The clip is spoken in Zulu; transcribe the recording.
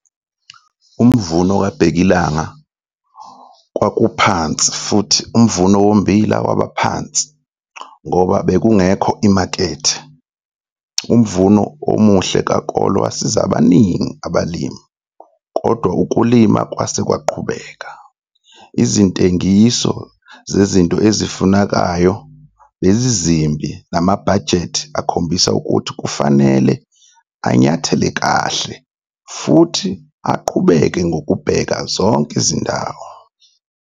Umvuno kabhekilanga kwakuphansi futhi umvuno wommbila wabaphansi ngoba bekungekho imakethe. Umvuno omuhle kakolo wasiza abaningi abalimi kodwa ukulima kwase kwaqhubeka. Izintengiso zezinto ezifunekayo bezimbi namabhajeti akhombise ukuthi kufanele anyathele kahle futhi aqubeke ngokubheka zonke izindawo.